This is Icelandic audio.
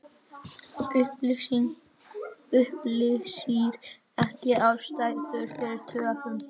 Upplýsir ekki ástæður fyrir töfum